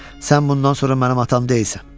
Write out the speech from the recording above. Sən bundan sonra mənim atam deyilsən.